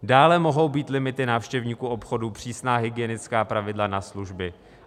Dále mohou být limity návštěvníků obchodu, přísná hygienická pravidla na služby.